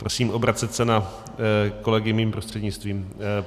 Prosím obracet se na kolegy mým prostřednictvím.